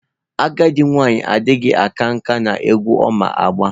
Agadi nwanyi adighi aka nka n'egwu Oma agba.